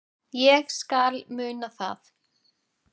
Ég skal muna það